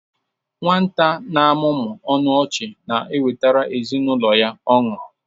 Nwata na-amụmụ ọnụ ọchị na-ewetara ezinụlọ ya ọṅụ.